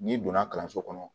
N'i donna kalanso kɔnɔ